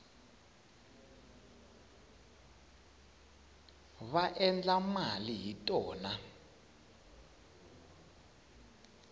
va endla mali hi tona